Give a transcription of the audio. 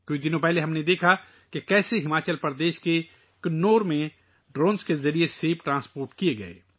کچھ دن پہلے ہم نے دیکھا کہ کس طرح ہماچل پردیش کے کنور میں ڈرون کے ذریعے سیب لے جائے گئے